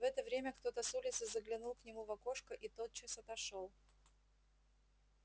в это время кто-то с улицы заглянул к нему в окошко и тотчас отошёл